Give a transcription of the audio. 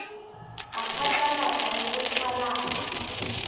a phatlalatse le ho qhalanya